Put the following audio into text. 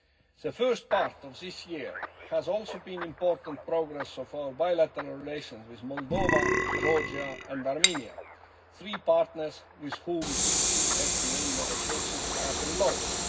The first part of this year has also seen important progress of our bilateral relations with Moldova, Georgia and Armenia three partners with whom DCFTA negotiations have been launched.